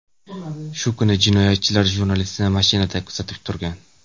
Shu kuni jinoyatchilar jurnalistni mashinada kuzatib turgan.